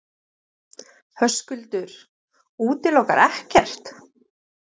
Höskuldur: Útilokar ekkert?